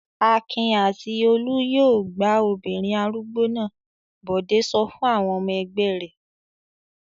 "Akin àti Olú yóò gbá obìnrin arúgbó náà!" Bọ̀dé sọ fún àwọn ọmọ ẹgbẹ́ rẹ̀.